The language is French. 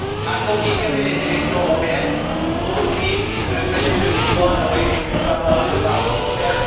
A t on différé les élections européennes au motif que le traité de Lisbonne aurait été plus favorable au Parlement européen?